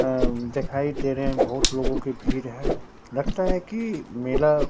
अ दिखाई दे रहे हैं बहुत लोगों के भीड़ है लगता है कि मेला--